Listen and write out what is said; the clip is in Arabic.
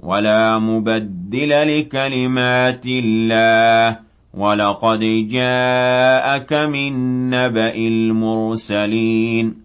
وَلَا مُبَدِّلَ لِكَلِمَاتِ اللَّهِ ۚ وَلَقَدْ جَاءَكَ مِن نَّبَإِ الْمُرْسَلِينَ